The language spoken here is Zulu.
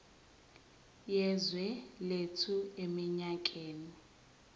yezwe lethu eminyakeni